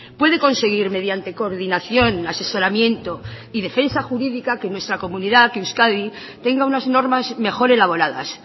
puede conseguir mediante coordinación asesoramiento y defensa jurídica que nuestra comunidad que euskadi tenga unas normas mejor elaboradas